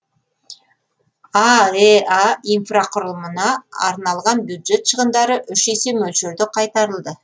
аэа инфрақұрылымына арналған бюджет шығындары үш есе мөлшерде қайтарылды